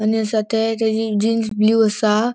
आणि असा ते तेजे जीन्स ब्लू असा.